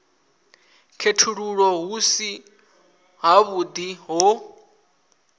khethululwa hu si havhuḓi ho